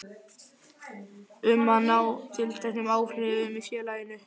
um að ná tilteknum áhrifum í félaginu.